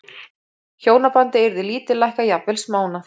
Hjónabandið yrði lítillækkað, jafnvel smánað.